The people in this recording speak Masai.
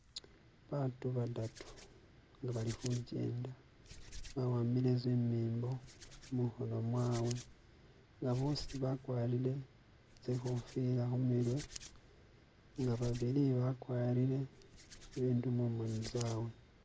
batu badatu nga balikhugenda baahambile zimimbo mukhono mwabe nga bosi bakwarire tsikofila khumirwe nga babili bakwarire bindu mumoni zabwe.